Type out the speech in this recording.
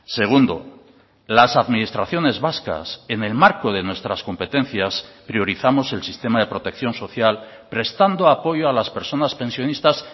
segundo las administraciones vascas en el marco de nuestras competencias priorizamos el sistema de protección social prestando apoyo a las personas pensionistas